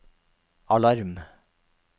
alarm